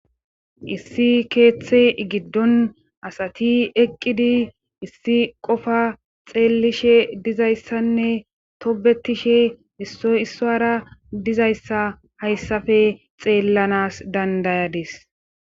Issi keeththe giddon asati eqqidi issi qofa xeellishe dizayssanne tobetishe issoy issoara dizayssa hayssafe xeellanas dandayadis.